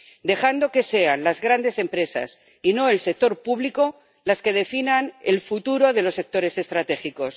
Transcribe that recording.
dejando que sean las grandes empresas, y no el sector público, las que definan el futuro de los sectores estratégicos.